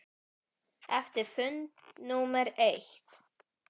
Eftir fund númer eitt.